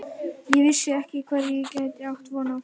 Ég vissi ekki hverju ég gæti átt von á.